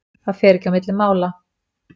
Það fer ekki á milli mála.